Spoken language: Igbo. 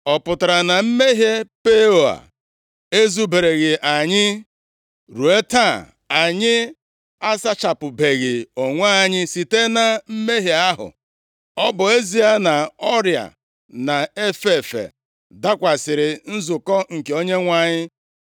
Ọ pụtara na mmehie Peoa ezubereghị anyị? Ruo taa anyị asachapụbeghị onwe anyị site na mmehie ahụ, ọ bụ ezie nʼọrịa na-efe efe dakwasịrị nzukọ nke Onyenwe anyị.